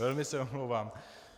Velmi se omlouvám.